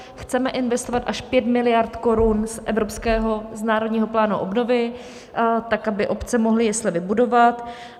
Chceme investovat až 5 miliard korun z evropského národního plánu obnovy, tak aby obce mohly jesle vybudovat.